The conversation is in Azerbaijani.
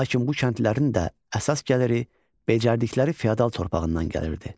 Lakin bu kəndlilərin də əsas gəliri becərdikləri fiodal torpağından gəlirdi.